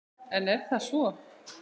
En er það svo?